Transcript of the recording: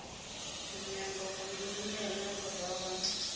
nyambahuvhili hune henefho zwa vha